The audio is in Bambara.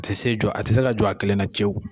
A tɛ se jɔ, a tɛ se ka jɔ a kelen na cɛw.